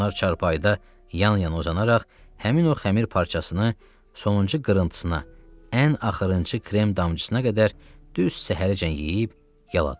Onlar çarpayıda yan-yana uzanaraq həmin o xəmir parçasını sonuncu qırıntısına, ən axırıncı krem damcısına qədər düz səhərəcən yeyib yaladılar.